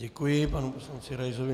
Děkuji panu poslanci Raisovi.